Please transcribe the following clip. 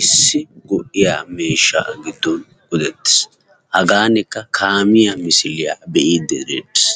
issi go'iya miishshan giddon qoodettees. Hagaanikka kaamiya misiliya be'iiddi deettees.